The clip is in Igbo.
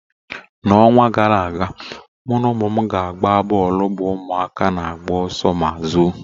N'ọnwa gara aga, mụ na ụmụ m na-agba bọọlụ bụ ụmụaka na-agba ọsọ ma zoo.